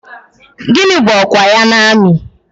Gịnị bụ ọkwa ya n'amị?